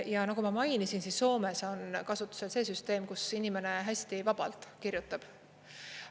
Ja nagu ma mainisin, Soomes on kasutusel see süsteem, kus inimene hästi vabalt kirjutab.